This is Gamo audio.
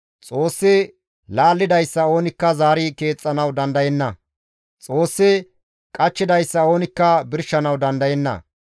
Xoossi laallidayssa oonikka zaari keexxanawu dandayenna; Xoossi qachchidayssa oonikka birshanawu dandayenna.